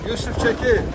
Yusif çəkil.